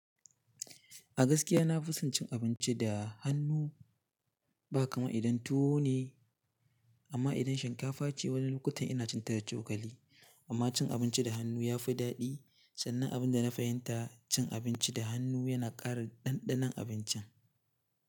A gaskiya na fi son cin abinci da hannu, ba kamar idan tuwo ne, amma idan shinkafa ce, wani lokutan ina cin ta da cokali. Amma cin abinci da hannu ya fi daɗi, sannan abin da na fahimta, cin abinci da hannu yana ƙara ɗanɗanon abincin.